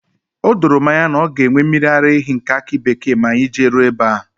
O doro m anya na ọ ga enwe mmiri ara ehi nke akị bekee ma anyị jeruo ebe ahụ